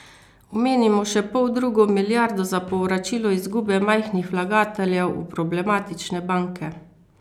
Omenimo še poldrugo milijardo za povračilo izgube majhnih vlagateljev v problematične banke.